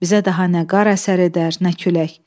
Bizə daha nə qar əsər edər, nə külək.